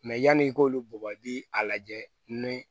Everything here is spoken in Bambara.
yanni i k'olu bugɔ i bi a lajɛ ni